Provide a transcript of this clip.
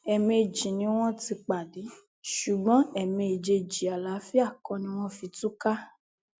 ẹẹmejì ni wọn ti pàdé ṣùgbọn ẹẹméjèèjì àlàáfíà kọ ni wọn fi túká